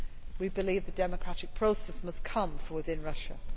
We believe the democratic process must come from within Russia.